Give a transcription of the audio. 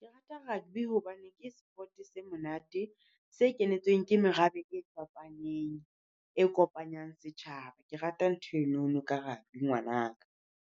Ke rata rugby hobane ke sport-e se monate. Se kenetsweng ke merabe e fapaneng, e kopanyang setjhaba. Ke rata ntho enono ka rugby ngwana ka.